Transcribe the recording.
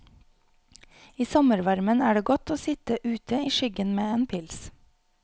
I sommervarmen er det godt å sitt ute i skyggen med en pils.